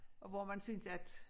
Og hvor man synes at